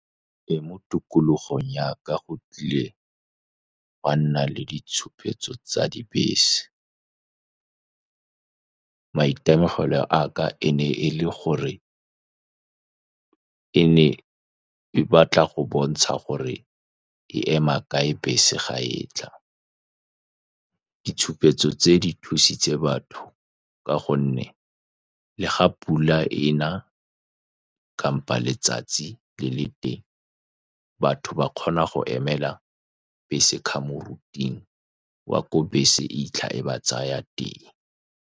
Teng mo tikologong ya ka, go tlile ga nna le ditshupetso tsa dibese. Maitemogelo a ka e ne e le gore ka ene e batla go bontsha gore e ema kae bese fa e tla. Ditshupetso tse di thusitse batho, ka gonne le fa pula ena, kgotsa letsatsi le le teng, batho ba kgona go emela bese ka fa moriting wa ko bese e 'itlha e ba tsaya teng.